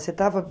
Você estava